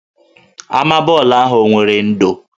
Ama bọọlụ ahụ o nwere ndò?